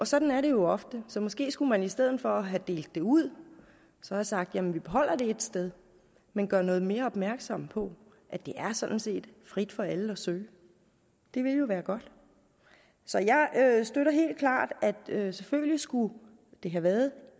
sådan er det jo ofte så måske skulle man i stedet for at have delt det ud have sagt at vi beholder det ét sted men gør noget mere opmærksom på at det sådan set er frit for alle at søge det ville jo være godt så jeg støtter helt klart at selvfølgelig skulle det have været